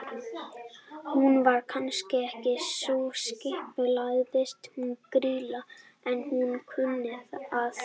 Hún var kannski ekki sú skipulagðasta hún Grýla, en hún kunni að.